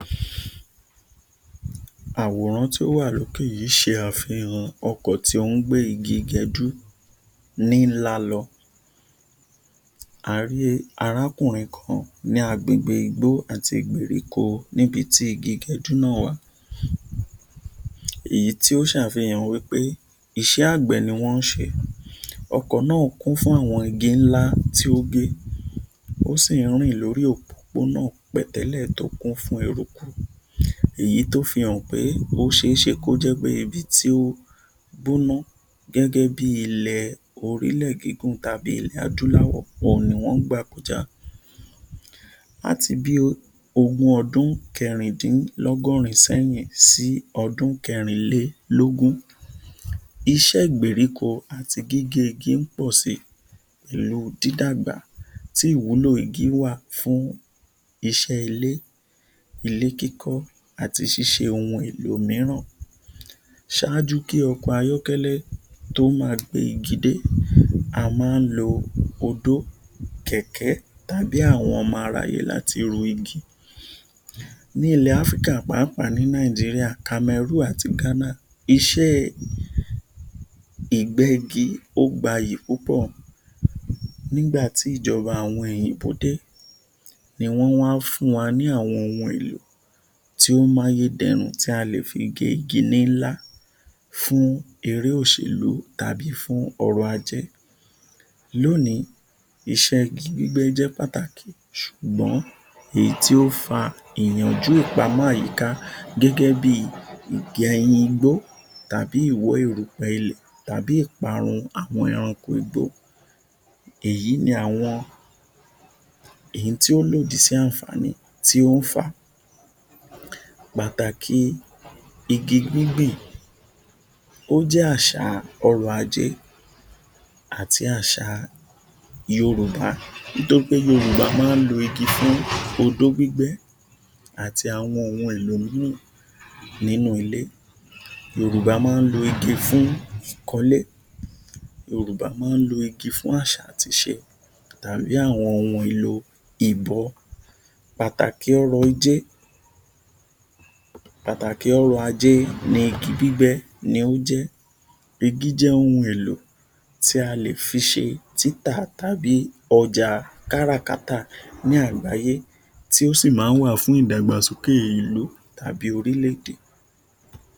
Àwòrán tí ó wà lókè yìí ṣe àfìhàn ọkọ̀ tí ó ń gbé igi gẹdú nílá lọ, a rí arákùnrin kan ni agbègbè igbó àti ìgbèríko níbi tí igi gẹdú náà wà. Èyí tí ó ṣàfìhàn wí pé, iṣẹ́ agbẹ̀ ní wọn ń ṣe, ọkọ̀ náà kún fún àwọn igi ńlá tí ó gé, ó sì ń rìn lórí òpópónà pẹ̀tẹ́lẹ̀ tí ó kún fún ẹrukú, èyí tí ó fi hàn pé ó ṣe é ṣe kó jẹ pé, ibi tí ó gbóná gẹ́gẹ́ bí orí ilẹ̀ gígùn tàbí ilẹ̀ adúláwò ohun ni wọn ń gbà kọjá àti bí ogún ọdún kẹ̀rindínlọ́gọ́rin sẹ́yìn sí ọdún kẹ̀rinlélógún, Iṣẹ́ ìgbèríko àti gíge igi ń pọ̀ sí ìlú dída gbà ti ìwúlò igi wá fún iṣẹ́ ilé, ilé kíkọ́ àti ṣíṣe ohun èlò mìíràn. Ṣáájú kí ọkọ̀ ayọkẹ́lẹ̀ tó máa gbé igi dé, a máa ń lo odó, kẹ̀kẹ́, tàbí àwọn ọmọ aráyé láti ru igi. Nílẹ̀ Áfríkà pàápàá ni Nàìjíríà, Cameroon àti Ghana, iṣẹ́ ìgbẹ́-igi ó gba iyì púpọ̀ nígbà tí ìjọba àwọn òyìnbó dé ní wọn wá fún wa ní àwọn ohun èlò tí ó ń mú ayédẹ̀rùn tí a lè fi gé igi nílá fún eré òṣèlú tàbí fún ọ̀rọ̀-ajé. Lónìí, iṣẹ́ igi bíbẹ́ jẹ́ pàtàkì ṣùgbọ́n èyí tí ó fá ìyànjú ìpámọ́ àyíká gẹ́gẹ́ bí ìgẹyìn igbó tàbí ìwọ́ èrùpẹ́ ilẹ̀ tàbí ìparun àwọn ẹranko igbó. Èyí ni àwọn ohun tí ó lòdì sí àǹfààní tí ó ń fà, pàtàkì igi gbíngbìn, ó jẹ Àṣà ọ̀rọ̀-ajé àti àṣà Yorùbá, nítorí pé Yorùbá máa ń lo igi fún odó gbígbẹ́ àti àwọn ohun èlò mìíràn nínú ilé, Yorùbá máa ń lo igi fún kíkan ilé, Yorùbá máa ń lo igi fún àṣà àti ìṣe tàbí àwọn ohun èlò ìbọ́, pàtàkì ọ̀rọ̀ yìí jẹ, pàtàkì [] ọ̀rọ̀-ajé ni igi gbígbẹ́ ni ó jẹ. Igi jẹ́ ohun èlò tí a lè fi ṣe títà tàbí ọjà kárakáta ni àgbáyé tí ó sì máa ń wà fún ìdàgbàsókè ìlú tàbí orílẹ̀-èdè.